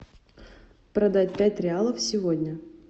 продать пять реалов сегодня